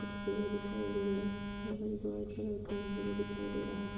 कुछ पेड़ दिख रहें हैं और कलर का व्यू दिखाई दे रहा।